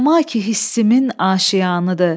Səma ki hissimin aşiyanıdır.